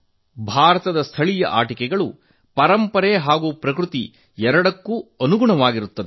ಭಾರತದ ಸ್ಥಳೀಯ ಆಟಿಕೆಗಳು ಪರಂಪರೆ ಹಾಗೂ ಪರಿಸರ ಸ್ನೇಹಿ ಎರಡಕ್ಕೂ ಹೊಂದಿಕೆಯಾಗುತ್ತದೆ